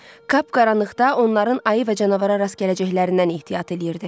Kap qaranlıqda onların ayı və canavara rast gələcəklərindən ehtiyat eləyirdi.